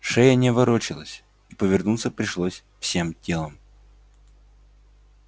шея не ворочалась и повернуться пришлось всем телом